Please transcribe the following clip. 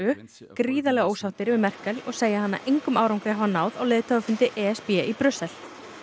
gríðarlega ósáttir við Merkel og segja hana engum árangri hafa náð á leiðtogafundi e s b í Brussel